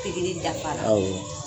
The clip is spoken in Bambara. dafara awɔ